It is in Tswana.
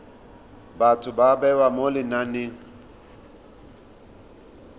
batho ba bewa mo lenaneng